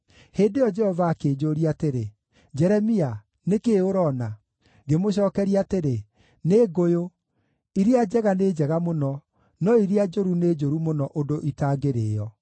Hĩndĩ ĩyo Jehova akĩnjũũria atĩrĩ, “Jeremia, nĩ kĩĩ ũroona?” Ngĩmũcookeria atĩrĩ, “Nĩ ngũyũ. Iria njega nĩ njega mũno, no iria njũru nĩ njũru mũno ũndũ itangĩrĩĩo.”